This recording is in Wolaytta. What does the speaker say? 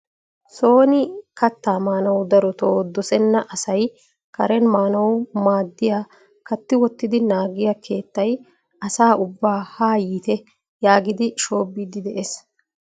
sooni kattaa maanuwa darotoo dossena asay karen maannaw maaddiya katti wottidi naaggiyaa keettay asa ubbaa ha yiitte yaagidi shoobidi de'ees.